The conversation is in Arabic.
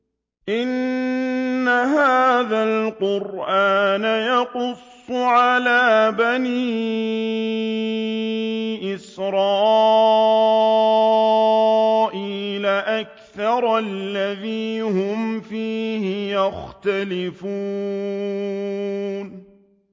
إِنَّ هَٰذَا الْقُرْآنَ يَقُصُّ عَلَىٰ بَنِي إِسْرَائِيلَ أَكْثَرَ الَّذِي هُمْ فِيهِ يَخْتَلِفُونَ